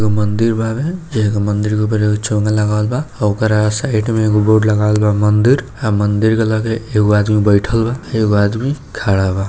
एक आदमी बैठएल बा एक आदमी खड़ा बा--